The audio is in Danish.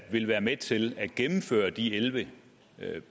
vil være med til at gennemføre de elleve